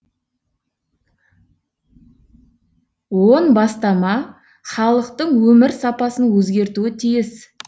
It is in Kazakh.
он бастама халықтың өмір сапасын өзгертуі тиіс